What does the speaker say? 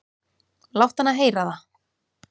"""Láttu hana heyra það,"""